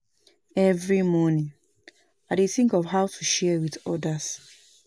Every morning, I dey think of how to share with others.